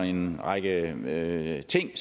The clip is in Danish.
en række ting